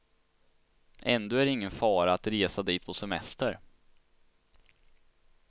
Ändå är det ingen fara att resa dit på semester.